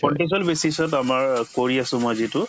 contextual basis ত আমাৰ কৰি আছো মই যিটো